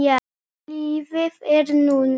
Lífið er núna.